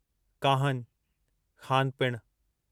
काहनु ख़ानु पिणु